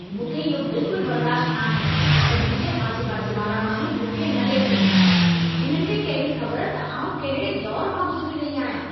मूंखे इहो बिल्कुल बर्दाश्तु न आहे, त मुंहिंजे आसे-पासे वारा माण्हू मूंखे न लेखिनि। हिननि खे कहिड़ी ख़बर त आउं कंहिड़े दौर मां गुज़िरी रही आहियां।